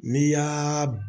N'i y'aaa